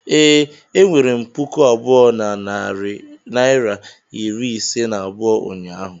ee, enwere m puku abụọ na narị naịra iri ise na abụọ ụnyaahụ